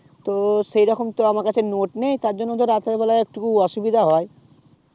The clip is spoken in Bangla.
তো সেইরকম তো আমার কাছে টো note নেই তারজন্যে তো রাত্রে বেলায় একটু অসুবিধা হয়